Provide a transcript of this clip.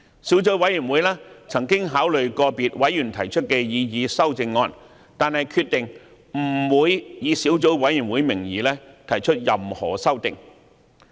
小組委員會曾考慮個別委員提出的擬議修訂議案，但決定不會以小組委員會名義提出任何修訂。